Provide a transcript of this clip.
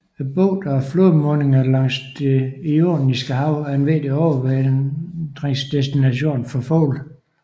Bugterne og flodmundingerne langs Det Ioniske Hav er en vigtig overvintringsdestination for fugle